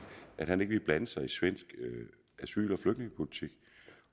at han ikke ville blande sig i svensk asyl